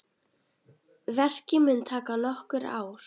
Verkið mun taka nokkur ár.